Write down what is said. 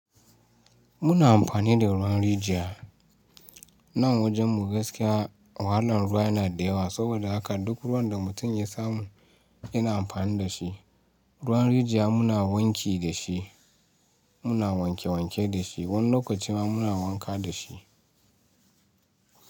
Muna amfani da ruwan rijiya. Nan wajen mu gaskiya wahalan ruwa yana da yawa. Saboda haka duk ruwan da mutum ya samu yana amfani da shi. Ruwan rijiya muna wanki da shi, muna wanke wanke da shi. Wani lokaci ma muna wanka da shi.